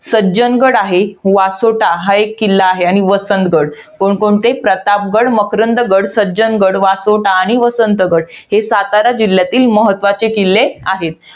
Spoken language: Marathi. सज्जनगड आहे. वासोटा हा एक किल्ला आहे. आणि वसंतगड. कोणकोणते? प्रतापगड, मकरंदगड, सज्जनगड, वासोटा आणि वसंतगड हे सातारा जिल्ह्यातील, महत्वाचे किल्ले आहेत.